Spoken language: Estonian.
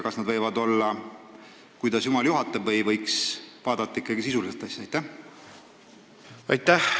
Kas nad võivad olla sellised, nagu jumal juhatab, või võiks ikkagi vaadata asja sisuliselt?